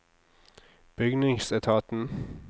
bygningsetaten